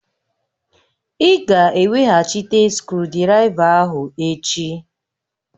Ị ga-eweghachite skrụdiraiva ahụ echi!